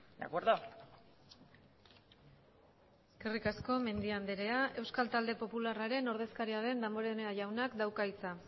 de acuerdo eskerrik asko mendia andrea euskal talde popularraren ordezkaria den damborenea jaunak dauka hitza